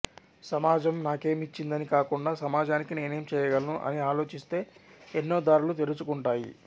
సమాజం నాకేమిచ్చిందని కాకుండా సమాజానికి నేనేం చేయగలను అని ఆలోచిస్తే ఎన్నో దారులు తెరుచు కుంటాయి